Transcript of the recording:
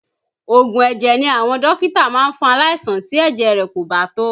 Oògùn ẹ̀jẹ̀ ni àwọn dókítà máa ń fún aláìsàn tí ẹ̀jẹ̀ rẹ̀ kò bá tó